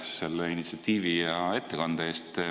Aitäh selle initsiatiivi ja ettekande eest!